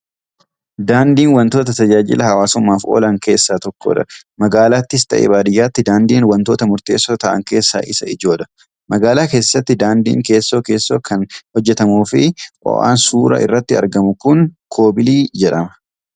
Daandiin wantoota tajaajila hawwasummaaf oolan keessaa tokkodha. Magaalaattis ta'ee baadiyyaatti daandiin wantoota murteessoo ta'an keessaa isa ijoodha. Magaalaa keessatti daandiin keessoo keessoo kan hojjetamuu fi oan suuraa irratti argamu kun 'koobilii' jedhama.